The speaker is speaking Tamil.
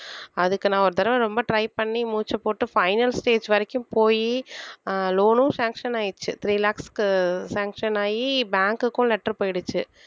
அதுக்கு நான் ஒரு தடவை ரொம்ப try பண்ணி மூச்சைப் போட்டு final stage வரைக்கும் போயி ஆஹ் loan னும் sanction ஆயிருச்சு three lakhs க்கு sanction ஆகி bank க்கும் letter போயிடுச்சு.